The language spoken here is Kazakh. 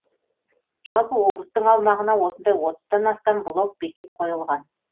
жалпы облыстың аумағына осындай отыздан астам блок бекет қойылған